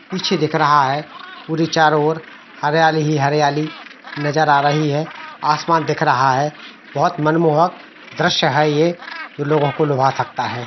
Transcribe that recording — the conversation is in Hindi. पीछे दिख रहा है पूरी तरह चारों और हरियाली ही हरियाली नजर आ रही है आसमान दिख रहा है बहुत ही मनमोहक दृश्य है ये जो लोगों को लूभा सकता है।